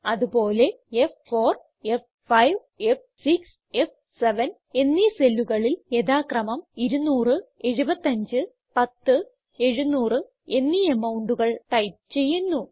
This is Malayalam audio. അത് പോലെ f4f5ഫ്6 ഫ്7 എന്നീ സെല്ലുകളിൽ യഥാക്രമം 2007510 700 എന്നീ amountകൾ ടൈപ്പ് ചെയ്യുന്നു